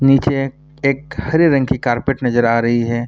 नीचे एक हरे रंग की कार्पेट नजर आ रही है।